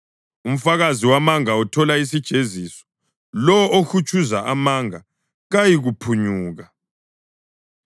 Umfakazi wamanga uthola isijeziso, lalowo ohutshuza amanga kayikuphunyuka.